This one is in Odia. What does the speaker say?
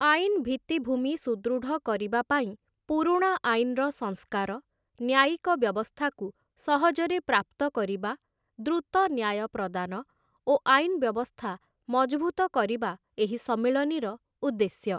ଆଇନ୍‌ ଭିତ୍ତିଭୂମି ସୁଦୃଢ଼ କରିବା ପାଇଁ ପୁରୁଣା ଆଇନ୍‌ର ସଂସ୍କାର, ନ୍ୟାୟିକ ବ୍ୟବସ୍ଥାକୁ ସହଜରେ ପ୍ରାପ୍ତ କରିବା, ଦ୍ରୁତ ନ୍ୟାୟ ପ୍ରଦାନ ଓ ଆଇନ୍‌ ବ୍ୟବସ୍ଥା ମଜଭୁତ କରିବା ଏହି ସମ୍ମିଳନୀର ଉଦ୍ଦେଶ୍ୟ ।